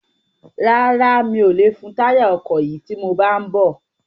Rárá, mi ò lè fun táyà ọkọ̀ yìí tí mo bá ń bọ̀